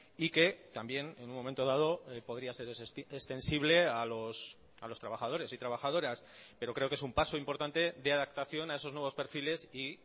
y que también en un momento dado podría ser extensible a los trabajadores y trabajadoras pero creo que es un paso importante de adaptación a esos nuevos perfiles y